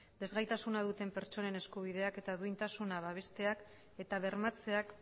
desgaitasuna duten pertsonen eskubideak eta duintasuna babesteak eta bermatzeak